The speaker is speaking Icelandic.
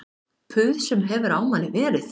Puð sem hefur á manni verið